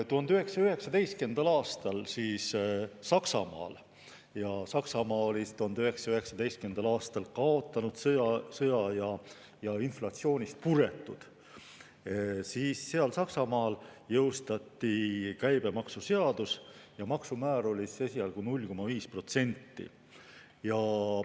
1919. aastal Saksamaal – ja Saksamaa oli 1919. aastal kaotanud sõja ja inflatsioonist puretud – jõustati käibemaksuseadus ja maksumäär oli esialgu 0,5%.